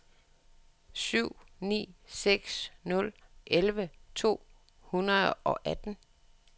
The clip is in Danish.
syv ni seks nul elleve to hundrede og atten